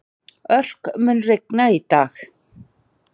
Örk, mun rigna í dag?